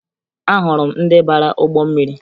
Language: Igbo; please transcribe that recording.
Ahụrụ m ndị bara ụgbọ mmiri